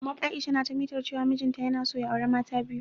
Aisha na ta mitar cewa mijin ta yana so ya auri mata ta biyu.